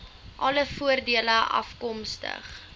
alle voordele afkomstig